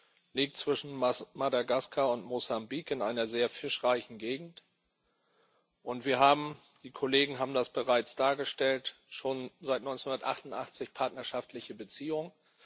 Sie liegt zwischen Madagaskar und Mosambik in einer sehr fischreichen Gegend, und wir haben die Kollegen haben das bereits dargestellt schon seit 1988 partnerschaftliche Beziehungen.